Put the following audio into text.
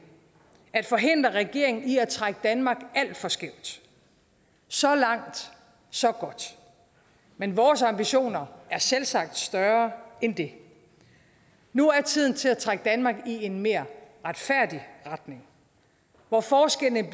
at forhindre regeringen i at trække danmark alt for skævt så langt så godt men vores ambitioner er selvsagt større end det nu er tiden til at trække danmark i en mere retfærdig retning hvor forskellene